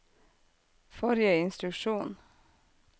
forrige instruksjon